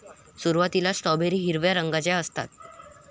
सुरुवातीला स्ट्रॉबेरी हिरव्या रंगाच्या असतात.